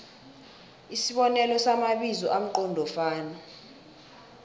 isibonelo samabizo amqondofana